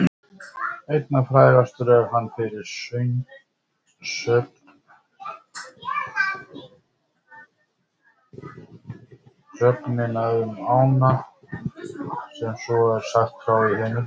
Einna frægastur er hann fyrir sögnina um ána sem svo er sagt frá í heimildum: